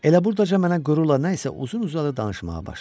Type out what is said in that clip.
Elə burdaca mənə qürurla nə isə uzun-uzadı danışmağa başladı.